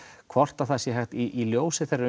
hvort það sé hægt í ljósi þeirrar